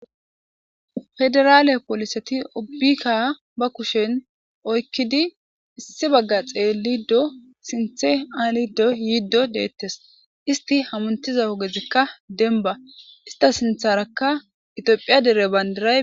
Federale poliseti ubika ba kushen issi baga xelidi sinthe halido yidi de'etes isiti hamutiza ogezika deniba isita sinitharaka itophey banidiray